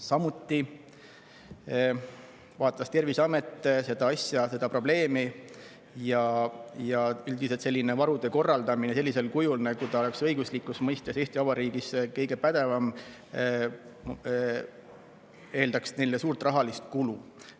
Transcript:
Samuti vaatas Terviseamet seda probleemi ja üldiselt selline varude korraldamine sellisel kujul, nagu see oleks õiguslikus mõistes Eesti Vabariigis kõige pädevam, neile suurt rahalist kulu.